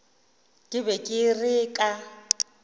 ke be ke re ka